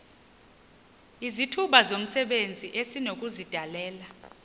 izithuba zomsebenzi esinokuzidalela